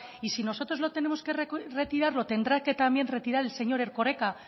y si nosotros lo tenemos que retirarlo tendrá que también retirar el señor erkoreka